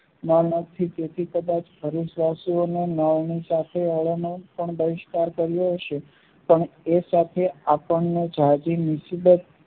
તેથી કદાચ ભરૂચ વાશીઓને બહિષ્કાર કર્યો છે પણ એ સાથે આપણને જાજી મુસીબત